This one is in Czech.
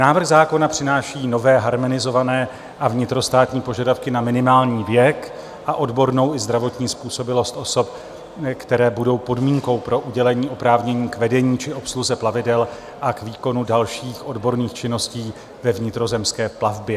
Návrh zákona přináší nové harmonizované a vnitrostátní požadavky na minimální věk a odbornou i zdravotní způsobilost osob, které budou podmínkou pro udělení oprávnění k vedení či obsluze plavidel a k výkonu dalších odborných činností ve vnitrozemské plavbě.